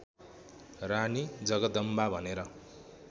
रानी जगदम्बा भनेर